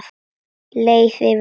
Leið yfir mig?